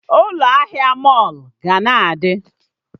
Ụlọ ahịa mọlụ ga na-adị